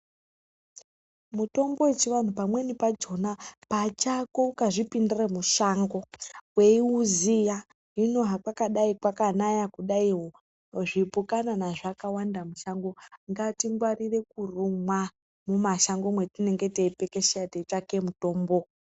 Mutombo wechianhu pamweni pakona pachako, ukazvipindira mushango weiuziya hino hakwadai kwakanaya zvipukanana zvakawanda mushango, ngatingwarire kurumwa mumashango mwetinenge teipepesheka teitsvaka mutombo.